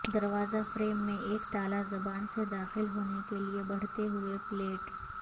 دروازہ فریم میں ایک تالا زبان سے داخل ہونے کے لئے بڑھتے ہوئے پلیٹ